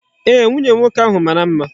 Eeh, nwunye nwoke ahu mara mma.